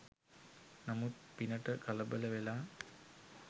නමුත් පිනට කලබල වෙලා